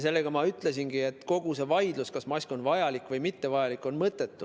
Sellega ma ütlesingi, et kogu see vaidlus, kas mask on vajalik või mittevajalik, on mõttetu.